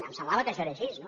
em semblava que això era així